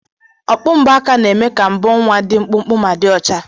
Okpu mbo aka na-eme ka mbo nwa dị mkpụmkpụ ma dị ọcha.